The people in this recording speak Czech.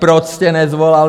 Proč jste nesvolal